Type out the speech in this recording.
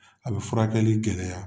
A bi furakɛli gɛlɛya.